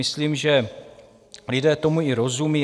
Myslím, že lidé tomu i rozumí.